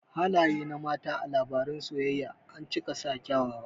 Halaye na mata a labaran soyayya ancika sa kyawawa